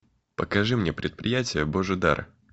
покажи мне предприятие божий дар